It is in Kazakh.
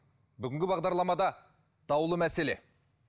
бүгінгі бағдарламада даулы мәселе